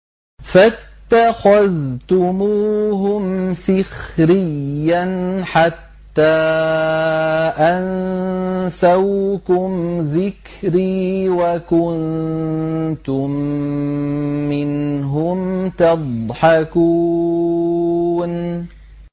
فَاتَّخَذْتُمُوهُمْ سِخْرِيًّا حَتَّىٰ أَنسَوْكُمْ ذِكْرِي وَكُنتُم مِّنْهُمْ تَضْحَكُونَ